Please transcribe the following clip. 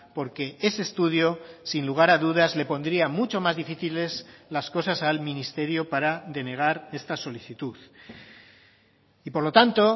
porque ese estudio sin lugar a dudas le pondría mucho más difíciles las cosas al ministerio para denegar esta solicitud y por lo tanto